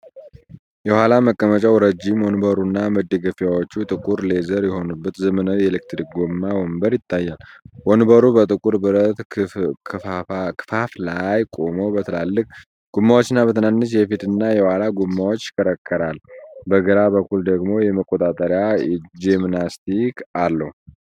የኋላ መቀመጫው ረጅም፣ ወንበሩና መደገፊያዎቹ ጥቁር ሌዘር የሆኑበት ዘመናዊ የኤሌክትሪክ ጎማ ወንበር ይታያል። ወንበሩ በጥቁር ብረት ክፈፍ ላይ ቆሞ፣ በትልልቅ ጎማዎችና በትንንሽ የፊትና የኋላ ጎማዎች ይሽከረከራል፤ በግራ በኩል ደግሞ የመቆጣጠሪያ ጆይስቲክ አለው።